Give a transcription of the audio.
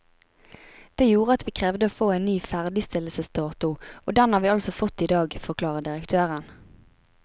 Det gjorde at vi krevde å få en ny ferdigstillelsesdato, og den har vi altså fått i dag, forklarer direktøren.